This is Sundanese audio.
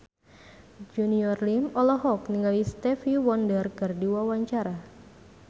Junior Liem olohok ningali Stevie Wonder keur diwawancara